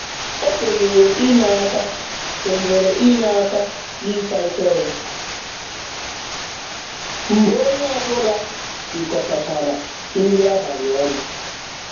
O kwenyere inye aka kwenyere inye aka n'ịsa efere mgbe onye ọbụla rikọtachara nri abalị ọnụ.